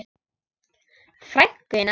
Frænku þína?